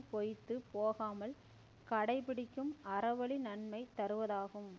பொய்த்து போகாமல் கடை பிடிக்கும் அற வழி நன்மை தருவதாகும்